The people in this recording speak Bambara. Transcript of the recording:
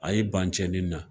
A y'i ban cɛnin na.